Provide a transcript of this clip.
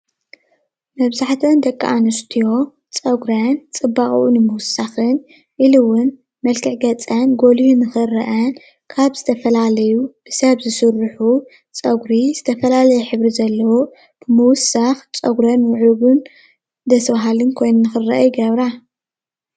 መብዛሕትአን ደቂ ኣንስትዮ ፀጉረን ፅባቅኡ ንምውሳኽን ኢሉ እውን መልክዕ ገፀን ገሊሁ ንኽረአ ካብ ዝተፈላለዩ ሰብ ዝስርሑ ፀጉሪ ዝተፈላለየ ሕብሪ ዘለዎ ምውሳኽ ፀጉረን ምዕርጉን ደስ ብሃሊ ኮይኑ ንክረአ ይገብራ ።